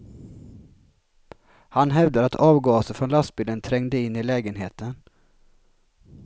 Han hävdar att avgaser från lastbilen trängde in i lägenheten.